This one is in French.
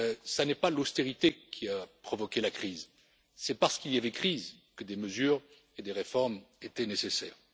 ce n'est pas l'austérité qui a provoqué la crise, c'est parce qu'il y avait crise que des mesures et des réformes étaient nécessaires.